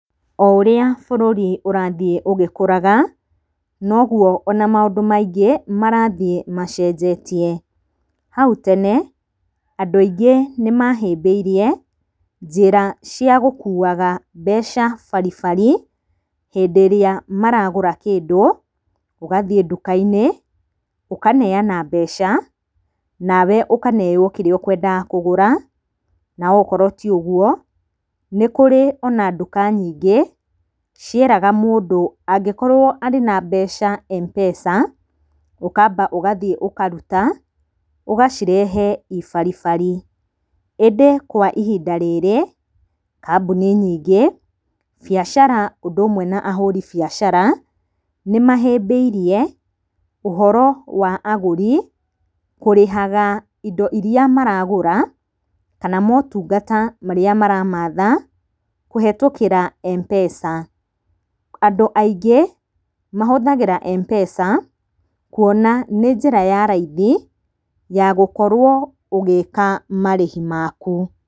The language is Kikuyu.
O ũrĩa bũrũri ũrathiĩ ũgĩkũraga noguo ona maũndũ maingĩ marathiĩ macenjetie. Hau tene andũ aingĩ nĩ mahĩmbĩirie njĩra cia gũkuaga mbeca baribari hĩndĩ ĩrĩa maragũra kĩndũ. Ũgathiĩ nduka-inĩ ũkaneana mbeca nawe ũkaneyo kĩrĩa ũkwenda kũgũra. Na okorwo ti ũguo nĩ kũrĩ nginya nduka nyingĩ cieraga mũndũ angĩkorwo arĩ na mbeca M-pesa, ũkamba ũgathiĩ ũkaruta, ũgacireha i baribari, ĩndĩ kwa ihinda rĩrĩ kambuni nyingĩ biacara ũndũ ũmwe na ahũri biacara nĩ mahĩmbiirie ũhoro wa agũri kũrĩhaga indo irĩa maragũra, kana motungata marĩa maramatha kũhĩtũkĩra M-pesa. Andũ aingĩ mahũthagĩra M-pesa kuona nĩ njĩra ya raithi ya gũkorwo ũgĩka marĩhi maku.